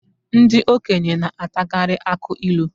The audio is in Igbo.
Ndị okenye na-atakarị akụ ilu